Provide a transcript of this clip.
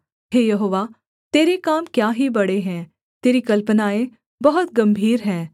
हे यहोवा तेरे काम क्या ही बड़े है तेरी कल्पनाएँ बहुत गम्भीर है